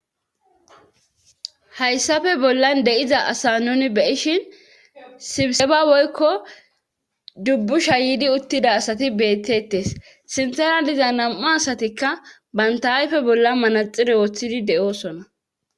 hayssafe bollan de7iza asa nun beyishin sibseba woykko dubbu sha yidi uttida asati beettettes sinthera diza nam7u asatikka bantayayfe bollan manaxire woththidi de7oosona